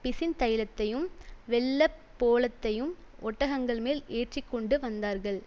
பிசின் தைலத்தையும் வெள்ளைப்போளத்தையும் ஒட்டகங்கள் மேல் ஏற்றி கொண்டு வந்தார்கள்